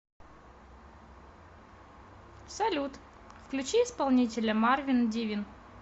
салют включи исполнителя марвин дивин